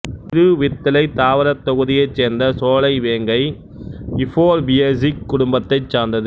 இருவித்திலைத் தாவரத் தொகுதியைச் சேர்ந்த சோலை வேங்கை யுஃபோர்பியேசிக் குடும்பத்தைச் சார்ந்தது